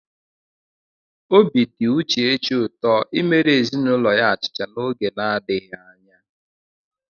Obi dị Uchechi ụtọ imere ezinụlọ ya achịcha n'oge na-adịghị anya.